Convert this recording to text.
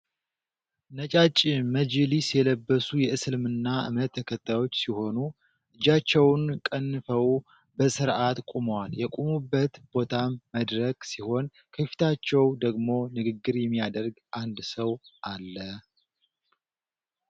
ነጫጭ መጅሊስ የለበሱ የእስልምና እምነት ተከታዮች ሲሆኑ። እጃቸውን ቀንፈው በስርዓት ቁመዋል የቆሙበት ቦታም መድረክ ሲሆን ከፊታቸው ደግሞ ንግግር የሚያደርግ አንድ ሰው አለ።